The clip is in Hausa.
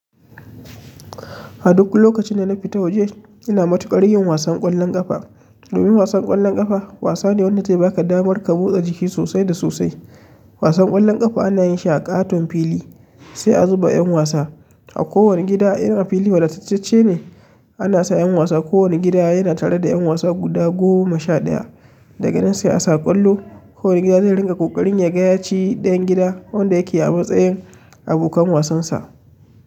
A duk lokacin da na fita waje ina matuƙar yin wasan ƙwallon ƙafa. Domin wasan ƙwallon ƙafa wasa ne wadda zai baka damar ka butse jiki sosai da sosai. Wasan ƙwallon ƙafa ana yinshi a katon fili sai a zuba yan wasa ko wani gida in a fili wadatacce ne ana sa yan wasa. Kowane gida yana tare da ƴan wasa guda goma sha ɗaya. Da ga nan sai a sa ƙwallo. Kowane gida zai rinka ƙoƙarin yaga ya ci ɗayan gida wanda yake a matsayin abokan wasansa.